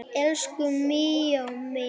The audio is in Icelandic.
Elsku Míó minn